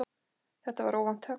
Þetta var óvænt högg.